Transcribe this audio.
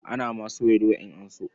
Ana ma soya doya in an so.